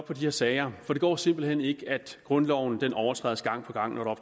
her sager for det går simpelt hen ikke at grundloven overtrædes gang på gang når der